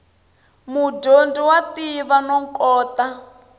mudyondzi wa tiva no kota